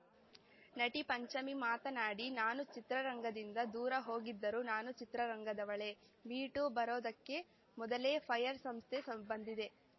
ನಟಿ ಪಂಚಮಿ ಮಾತನಾಡಿ ನಾನು ಚಿತ್ರರಂಗದಿಂದ ದೂರ ಹೋಗಿದ್ದರೂ ನಾನು ಚಿತ್ರರಂಗದವಳೇ ಮೀ ಟೂ ಬರೋದಕ್ಕೇ ಮೊದಲೇ ಫೈರ್ ಸಂಸ್ಥೆ ಬಂದಿದೆ